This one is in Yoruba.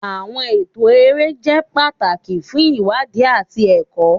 Awọn ẹtọ ere jẹ pataki fun iwadi ati ẹkọ.